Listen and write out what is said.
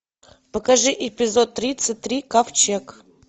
покажи эпизод тридцать три ковчег